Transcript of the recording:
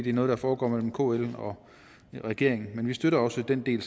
er noget der foregår mellem kl og regeringen men vi støtter også den del